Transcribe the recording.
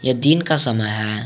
यह दिन का समय है।